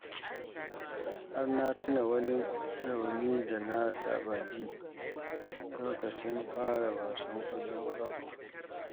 Har na tuna wani rauni da na taɓa ji lokacin fara wasan ƙwallon ƙafana